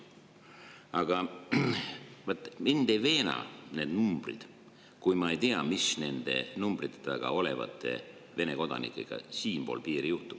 Aga vaat mind ei veena need numbrid, kui ma ei tea, mis nende numbrite taga olevate Vene kodanikega siinpool piiri juhtub.